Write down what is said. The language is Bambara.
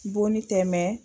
Bonni tɛ mɛ